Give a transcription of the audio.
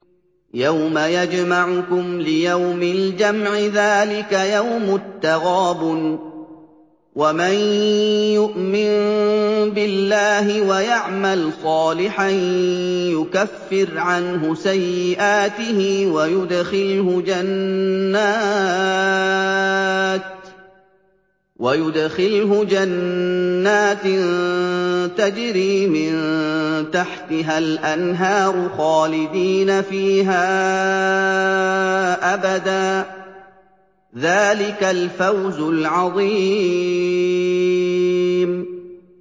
يَوْمَ يَجْمَعُكُمْ لِيَوْمِ الْجَمْعِ ۖ ذَٰلِكَ يَوْمُ التَّغَابُنِ ۗ وَمَن يُؤْمِن بِاللَّهِ وَيَعْمَلْ صَالِحًا يُكَفِّرْ عَنْهُ سَيِّئَاتِهِ وَيُدْخِلْهُ جَنَّاتٍ تَجْرِي مِن تَحْتِهَا الْأَنْهَارُ خَالِدِينَ فِيهَا أَبَدًا ۚ ذَٰلِكَ الْفَوْزُ الْعَظِيمُ